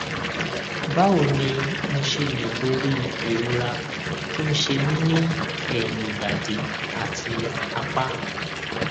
báwo ni mo ṣe lè borí ìrora tó ń ṣe mí ní ẹyìn ìbàdí àti apá